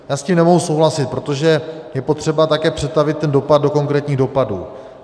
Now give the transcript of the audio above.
Já s tím nemohu souhlasit, protože je potřeba také přetavit ten dopad do konkrétních dopadů.